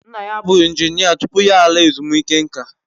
Nna ya bụ injinia tupu ya laa ezumike nka